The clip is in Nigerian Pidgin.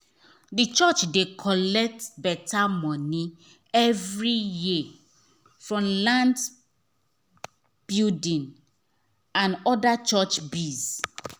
the church dey collect better money every year from lands buildings and other church biz.